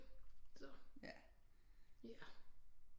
Så ja